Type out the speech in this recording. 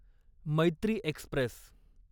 Maitri Express